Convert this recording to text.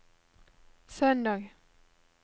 søndag